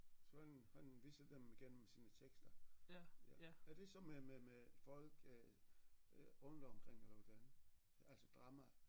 Så han han viste dem igennem sine tekster ja er det så med med med folk øh rundt omkring eller hvordan altså drama